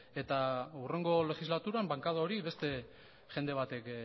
eta hurrengo legislaturan bankada hori beste jende batek